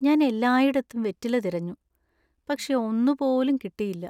ഞാൻ എല്ലായിടത്തും വെറ്റില തിരഞ്ഞു, പക്ഷേ ഒന്നു പോലും കിട്ടിയില്ല.